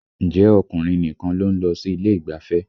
Ǹjẹ́ ọkùnrin nìkan ló ń lọ sí ilé ìgbafẹ́?